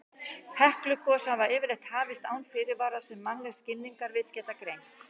Heklugos hafa yfirleitt hafist án fyrirvara sem mannleg skilningarvit geta greint.